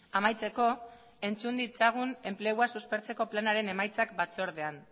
amaitzeko entzun ditzagun enplegua suspertzeko planaren emaitzak batzordean